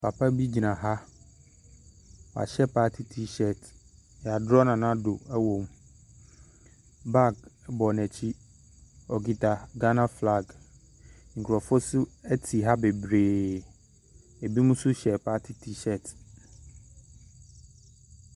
Papa bi gyina ha. Wahyɛ party T-shirt. Wɔadrɔɔ Nana Ado wɔ mu. Bag bɔ n'akyi. Ɔkita Ghana flag Nkurɔfoɔ nso te ha bebreeee. Binom nso hyɛ party T-shirt.